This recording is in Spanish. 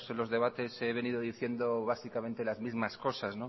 los debates he venido diciendo básicamente las mismas cosas